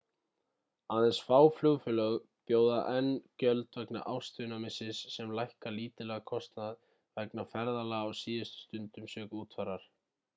aðeins fá flugfélög bjóða enn gjöld vegna ástvinamissis sem lækka lítillega kostnað vegna ferðalaga á síðustu stundu sökum útfarar